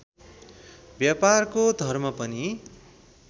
व्यापारको धर्म पनि